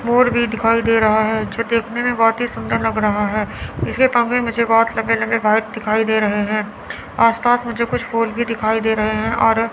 मोर भी दिखाई दे रहा है जो देखने में बहुत ही सुंदर लग रहा है इसके पंख भी मुझे बहुत लंबे-लंबे व्हाइट दिखाई दे रहे है आस पास मुझे कुछ फूल भी दिखाई दे रहे है और --